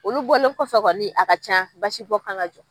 Olu bɔlen kɔfɛ kɔni a ka can basibɔ kan ŋa jɔ.